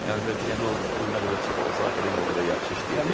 Əvvəlki deyəndə o pul nə qədər çox olsa, akademiya o qədər yaxşı işləyəcək.